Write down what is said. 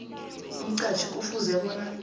umqhatjhi kufuze bona